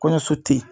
Kɔɲɔso te yen